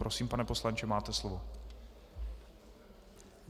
Prosím, pane poslanče, máte slovo.